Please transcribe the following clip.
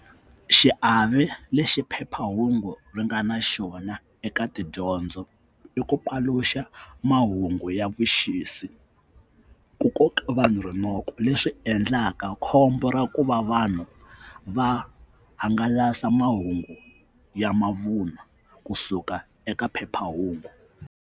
Xiave lexi phephahungu ri nga na xona eka tidyondzo i ku paluxa mahungu ya vuxisi ku koka vanhu rinoko leswi endlaka khombo ra ku va vanhu va hangalasa mahungu ya mavun'wa kusuka eka phephahungu.